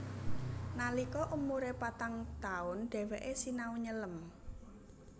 Nalika umure patang taun dheweke sinau nyelem